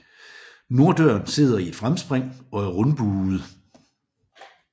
Norddøren sidder i et fremspring og er rundbuet